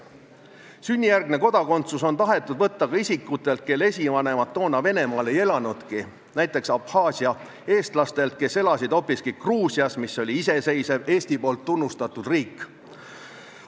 Sünnijärgne kodakondsus on tahetud võtta ka isikutelt, kelle esivanemad toona Venemaal ei elanudki, näiteks Abhaasia eestlastelt, kes elasid hoopiski Gruusias, mis oli iseseisev Eesti poolt tunnustatud riik.